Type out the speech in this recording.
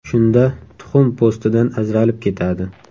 Shunda tuxum po‘stidan ajralib ketadi.